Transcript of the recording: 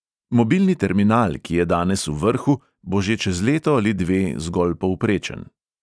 Mobilni terminal, ki je danes v vrhu, bo že čez leto ali dve zgolj povprečen.